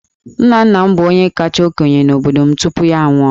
Nna nna m bụ onye kacha okenye n'obodo m tupu ya anwụọ.